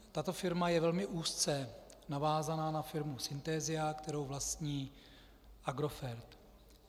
Tato firma je velmi úzce navázaná na firmu Synthesia, kterou vlastní Agrofert.